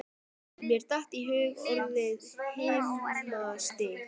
Mér datt í hug orðið himnastigi.